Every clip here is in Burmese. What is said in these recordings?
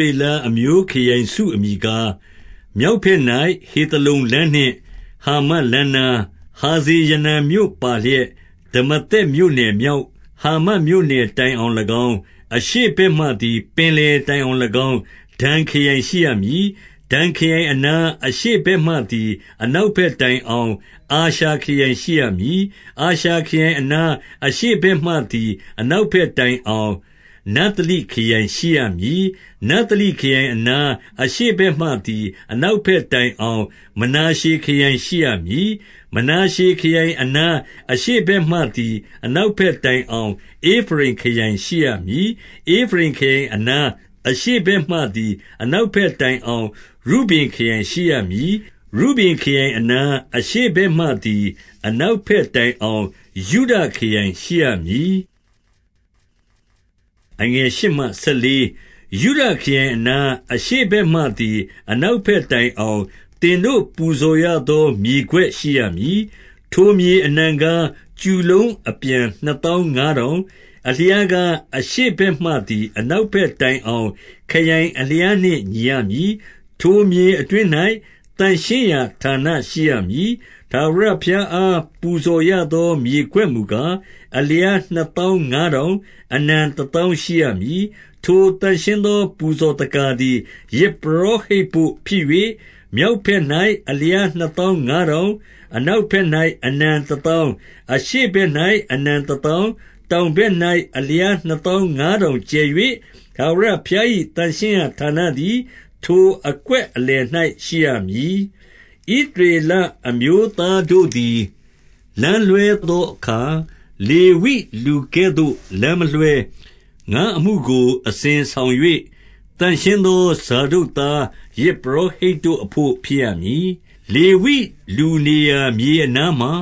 ရေလအမျိုးခရိုင်စုအမည်ကား၊ မြောက် ဘက်၌ဟေသလုန်လမ်းနှင့် ဟာမတ်လမ်းနား၊ ဟာဇ ရေနန်မြို့ပါလျက် ဒမာသက်မြို့နယ် မြောက် ဟာမတ် မြို့နယ်တိုင်အောင်၎င်း၊ အရှေ့ဘက်မှသည် ပင်လယ် တိုင်အောင်၎င်း ဒန်ခရိုင်ရှိရမည်။ 2 ဒန်ခရိုင်အနား၊ အရှေ့ဘက်မှသည် အနောက် ဘက်တိုင်အောင် အာရှာခရိုင်ရှိရမည်။ 3 အာရှာခရိုင်အနား၊ အရှေ့ဘက်မှသည် အနောက်ဘက်တိုင်အောင် နဿလိခရိုင်ရှိရမည်။ 4 နဿလိခရိုင်အနား၊ အရှေ့ဘက်မှသည် အနောက်ဘက်တိုင်အောင် မနာရှည်ခရိုင်ရှိရမည်။ 5 မနာရှေခရိုင်အနား၊ အရှေ့ဘက်မှသည် အနောက်ဘက်တိုင်အောင် ဧဖရိမ်ခရိုင်ရှိရမည်။ 6 ဧဖရိမ်ခရိုင်အနား၊ အရှေ့ဘက်မှသည် အနောက်ဘက်တိုင်အောင် ရုဗင်ခရိုင်ရှိရမည်။ 7 ရုဗင်ခရိုင်အနား၊ အရှေ့ဘက်မှသည် အနောက် ဘက်တိုင်အောင် ယုဒခရိုင်ရှိရမည်။ 8 ယုဒခရိုင်အနား၊ အရှေ့ဘက်မှသည် အနောက် ဘက်တိုင်အောင် သင်တို့ပူဇော်ရသော မြေကွက်ရှိရမည်။ ထိုမြေအနံကား၊ ကျူလုံးအပြန်နှစ်သောင်းငါးထောင်၊ အလျားကား အရှေ့ဘက်မှသည် အနောက်ဘက်တိုင် အောင် ခရိုင်အလျားနှင့်ညီရမည်။ ထိုမြေအတွင်း၌ သန့်ရှင်းရာဌာန ရှိရမည်။ 9 ထာဝရဘုရားအား ပူဇော်ရသော မြေကွက် မူကား၊ အလျားနှစ်သောင်းငါးထောင်၊ အနံတသောင်း ရှိရမည်။ 10 ထိုသန့်ရှင်းသော ပူဇော်သက္ကာသည် ယဇ်ပရော ဟိတ်ဘို့ ဖြစ်၍ မြောက်ဘက်၌နှစ်သောင်းငါးထောင်၊ အနောက်ဘက်၌အနံတသောင်း၊ အရှေ့ဘက်၌ အနံ တသောင်း၊ တောင်ဘက်၌ အလျားနှစ်သောင်းငါးထောင် ကျယ်၍၊ ထာဝရဘုရား၏သန့်ရှင်းရာဌာနသည် ထိုအကွက်အလယ်၌ ရှိရမည်။ 11 ဣသရေလအမျိုးသားတို့သည် လမ်းလွှဲသော အခါ လေဝိလူကဲ့သို့ လမ်းမလွှဲ။ ငါ့အမှုကို အစဉ်ဆောင် ၍ သန့်ရှင်းသော ဇာဒုတ်သားယဇ် ပုရောဟိတ်တို့အဘို့ ဖြစ်ရမည်။ 12 လေဝိလူနေရာ မြေအနားမှာ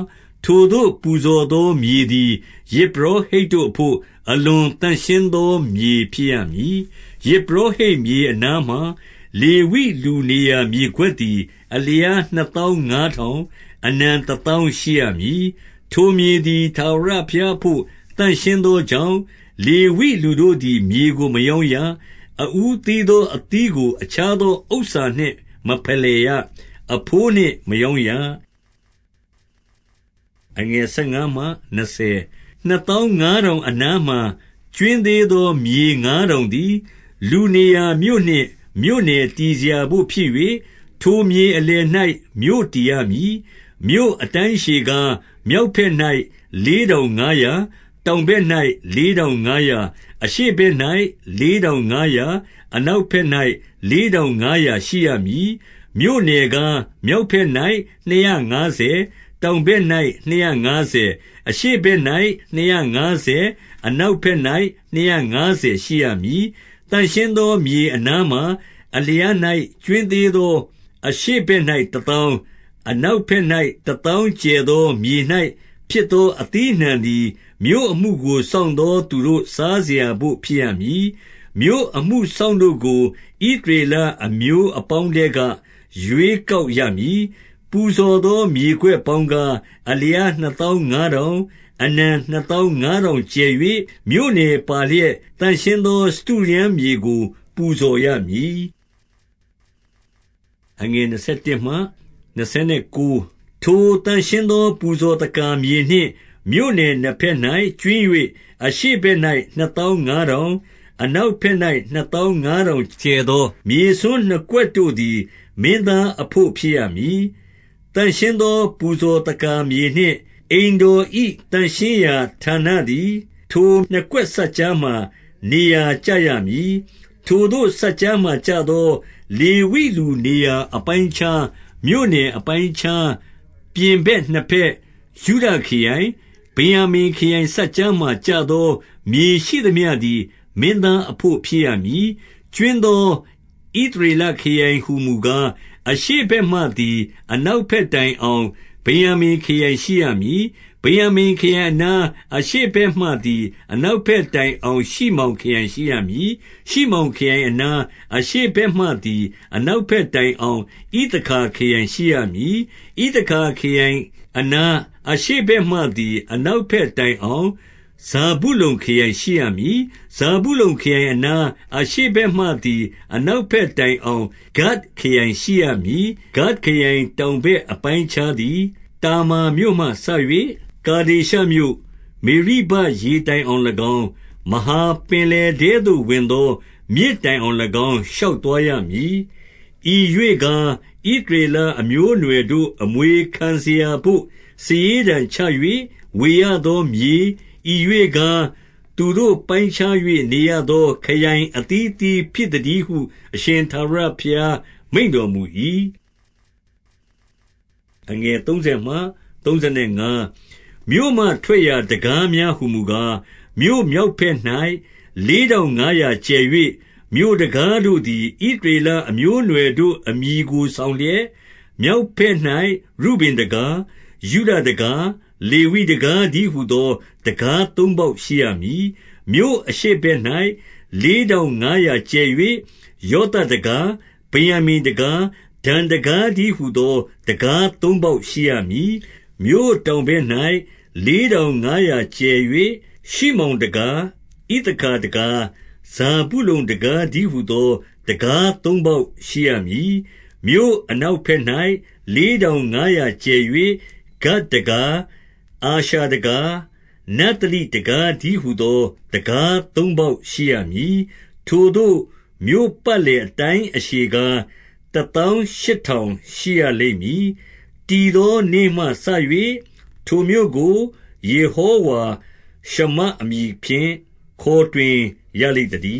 ထိုသို့ပူဇော်သော မြေသည် ယဇ်ပုရောဟိတ်တို့အဘို့ အလွန်သန့်ရှင်းသော မြေဖြစ်ရမည်။ 13 ယဇ်ပုရောဟိတ် မြေအနားမှာလေဝိ လူနေရာ မြေကွက်သည် အလျားနှစ်သောင်းငါးထောင်၊ အနံ တသောင်း ရှိရမည်။ 14 ထိုမြေသည် ထာဝရဘုရားအဘို့ သန့်ရှင်း သောကြောင့်၊ လေဝိလူတို့သည် မြေကို မရောင်းရ။ အဦးသီးသော အသီးကို အခြားသော ဥစ္စနှင့်မဖယ်လှယ် ရ။ အဘိုးနှင့်မရောင်းရ။ 15 နှစ်သောင်းငါးထောင်အနားမှာ ကြွင်းသေး သော မြေငါးထောင်သည် လူနေရာမြို့နှင့် မြို့နယ်တည် စရာဘို့ဖြစ်၍၊ ထိုမြေအလယ်၌ မြို့တည်ရမည်။ 16 မြို့အတိုင်းအရှည်ကား၊ မြောက်ဘက်၌ လေး ထောင်ငါးရာ၊ တောင်ဘက်၌လေးထောင်ငါးရာ၊ အရှေ့ ဘက်၌ လေးထောင်ငါးရာ၊ အနောက်ဘက်၌ လေး ထောင်ငါးရာရှိရမည်။ 17 မြို့နယ်ကား၊ မြောက်ဘက်၌နှစ်ရာငါးဆယ်၊ တောင်ဘက်၌ နှစ်ရာငါးဆယ်၊ အရှေ့ဘက်၌ နှစ်ရာ ငါးဆယ်၊ အနောက်ဘက်၌ နှစ်ရာငါးဆယ်ရှိရမည်။ 18 သန့်ရှင်းသော မြေအနားမှာအလျား၌ ကြွင်း သေးသော အရှေ့ဘက်၌ တသောင်း၊ အနောက်ဘက်၌ တသောင်းကျယ်သော မြေ၌ဖြစ်သော အသီးအနှံသည်၊ မြို့အမှုကို စောင့်သောသူတို့ စားစရာဘို့ ဖြစ်ရမည်။ 19 မြို့အမှုစောင့်တို့ကို ဣသရေလအမျိုးအပေါင်း ထဲက ရွေးကောက်ရမည်။ 20 ပူဇော်သော မြေကွက်ပေါင်းကား၊ အလျား နှစ်သောင်းငါးထောင်၊ အနံနှစ်သောင်းငါးထောင်ကျယ်၍၊ မြို့နယ်ပါလျက် သန့်ရှင်းသော ထိုစတုရန်းမြေကို ပူဇော် ရမည်။ 21 ထိုသန့်ရှင်းသော ပူဇော်သက္ကာမြေနှင့်မြို့နယ် နှစ်ဘက်၌ ကြွင်း၍၊ အရှေ့ဘက်၌ နှစ်သောင်းငါးထောင်၊ အနောက်ဘက်၌ နှစ်သောင်းငါးထောင်ကျယ်သော မြေစွန်းနှစ်ကွက်တို့သည် မင်းသားအဘို့ ဖြစ်ရမည်။ သန့်ရှင်းသော ပူဇော်သက္ကာမြေနှင့် အိမ်တော်၏ သန့်ရှင်းရာဌာနသည် ထိုနှစ်ကွက်စပ်ကြားမှာ နေရာ ကျရမည်။ 22 ထိုသို့စပ်ကြားမှာကျသော လေဝိလူနေရာ အပိုင်းအခြား၊ မြို့နယ်အပိုင်းအခြား၊ ပြင်ဘက်နှစ်ဘက်၊ ယုဒခရိုင်၊ ဗင်္ယာမိန်ခရိုင်စပ်ကြားမှာ ကျသောမြေရှိသမျှ သည် မင်းသားအဘို့ဖြစ်ရမည်။ 23 ကြွင်းသော ဣသရေလခရိုင်ဟူမူကား၊ အရှေ့ ဘက်မှသည် အနောက်ဘက်တိုင်အောင် ဗင်္ယာမိန်ခရိုင် ရှိရမည်။ 24 ဗယာင်္မိန်ခရိုင်အနား၊ အရှေ့ဘက်မှသည် အနောက်ဘက်တိုင်အောင်ရှိမောင် ခရိုင်ရှိရမည်။ 25 ရှိမောင်ခရိုင်အနား၊ အရှေ့ဘက်မှသည် အနောက်ဘက်တိုင်အောင် ဣသခါခရိုင်ရှိရမည်။ 26 ဣသခါခရိုင်အနား၊ အရှေ့ဘက်မှသည် အနောက်ဘက်တိုင်အောင် ဇာဗုလုန်ခရိုင်ရှိရမည်။ 27 ဇာဗုလုန်ခရိုင်အနား၊ အရှေ့ဘက်မှသည် အနောက်ဘက်တိုင်အောင် ဂဒ်ခရိုင်ရှိရမည်။ 28 ဂဒ်ခရိုင်တောင်ဘက် အပိုင်းအခြားသည် တာမာမြို့မှစ၍ ကာဒေရှမြို့၊ မေရိဘရေ တိုင်အောင်၎င်း၊ မဟာပင်လယ်ထဲသို့ဝင်သော မြစ်တိုင်အောင်၎င်း ရှောက်သွားရမည်။ 29 ဤရွေ့ကား၊ ဣသရေလအမျိုးအနွယ်တို့ အမွေ ခံစရာဘို့ စာရေးတံချ၍ ဝေရသောမြေ၊ ဤရွေ့ကား၊ သူတို့ ပိုင်းခြား၍ နေရသော ခရိုင်အသီးအသီး ဖြစ်သတည်းဟု အရှင်ထာဝရဘုရား မိန့်တော်မူ၏။ 30 မြို့မှထွက်ရာတံခါးများဟူမူကား၊ မြို့မြောက် ဘက်၌ လေးထောင်ငါးရာကျယ်၍၊ 31 မြို့တံခါးတို့သည် ဣသရေလအမျိုးအနွယ်တို့ အမည်ကို ဆောင်လျက်၊ မြောက်ဘက်၌ ရုဗင်တံခါး၊ ယုဒတံခါး၊ လေဝိတံခါးတည်းဟူသော တံခါးသုံးပေါက် ရှိရမည်။ 32 မြို့အရှေ့ဘက်၌ လေးထောင်ငါးရာကျယ်၍၊ ယောသပ်တံခါး၊ ဗင်္ယာမိန်တံခါး၊ ဒန်တံခါးတည်းဟူသော တံခါးသုံးပေါက်ရှိရမည်။ 33 မြို့တောင်ဘက်၌ လေးထောင်ငါးရာကျယ်၍၊ ရှိမောင်တံခါး၊ ဣသခါတံခါး၊ ဇာဗုလုန်တံခါးတည်း ဟူသော တံခါးသုံးပေါက်ရှိရမည်။ 34 မြို့အနောက်ဘက်၌ လေးထောင်ငါးရာကျယ်၍၊ ဂဒ်တံခါး၊ အာရှာတံခါး၊ နဿလိတံခါးတည်းဟူသော တံခါးသုံးပေါက်ရှိရမည်။ 35 ထိုသို့ မြို့ပတ်လည်အတိုင်းအရှည်ကား၊ တသောင်းရှစ်ထောင် ရှိရလိမ့်မည်။ တည်သောနေ့မှစ၍ ထိုမြို့ကို ယေဟောဝါရှမ္မအမည်ဖြင့် ခေါ်တွင်ရလိမ့် သတည